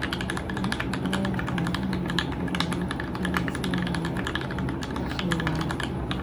Lo'da caanaha ayaa beeraleyda Kenya siinaya dakhli waara.